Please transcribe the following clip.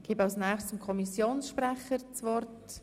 Ich gebe als nächstes dem Kommissionssprecher das Wort.